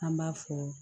An b'a fɔ